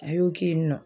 A y'o kɛ yen nɔ